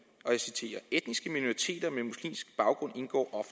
og jeg citerer etniske minoriteter med muslimsk baggrund indgår